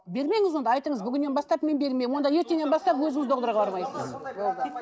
бермеңіз онда айтыңыз бүгіннен бастып мен бермеймін онда ертеңнен бастап өзіңіз